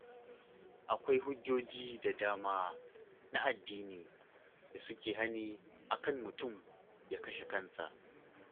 Akwai hujjoji da dama na addini da suke hani a kan mutum ya kashe kansa.